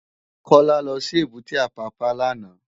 Kola lò si ébùté Apapa làná